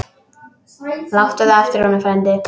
Láttu það eftir honum, frændi.